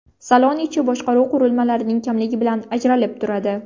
Salon ichi boshqaruv qurilmalarining kamligi bilan ajralib turadi.